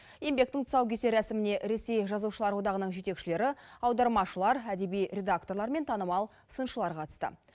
еңбектің тұсаукесер рәсіміне ресей жазушылар одағының жетекшілері аудармашылар әдеби редакторлар мен танымал сыншылар қатысты